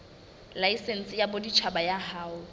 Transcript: laesense ya boditjhaba ya ho